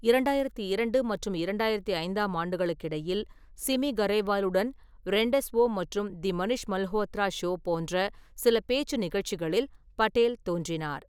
இரண்டாயிரத்தி இரண்டு மற்றும் இரண்டாயிரத்தி ஐந்தாம் ஆண்டுகளுக்கு இடையில், சிமி கரேவாலுடன் ரெண்டெஸ்வோ மற்றும் தி மனிஷ் மல்ஹோத்ரா ஷோ போன்ற சில பேச்சு நிகழ்ச்சிகளில் படேல் தோன்றினார்.